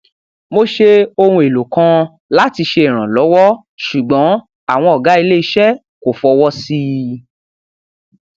mo ṣe ohun èlò kan láti ṣe ìrànlọwọ ṣùgbọn àwọn ọgá ilé iṣẹ kò fọwọ sí i